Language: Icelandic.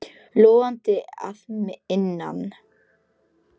Logandi að innan.